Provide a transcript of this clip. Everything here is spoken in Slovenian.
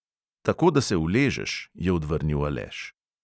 "Tako, da se uležeš," je odvrnil aleš.